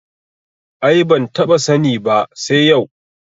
Ai ban taɓa sani ba sai yau